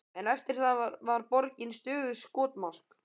En eftir það var borgin stöðugt skotmark.